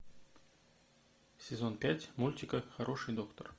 сезон пять мультика хороший доктор